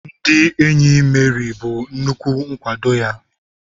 Ndị enyi Meri bụ nnukwu nkwado ya.